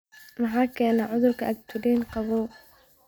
Maxaa keena cudurka agglutinin qabow?